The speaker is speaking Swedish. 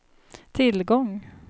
tillgång